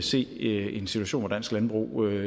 se en situation hvor dansk landbrug